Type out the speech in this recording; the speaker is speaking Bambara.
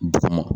Duguma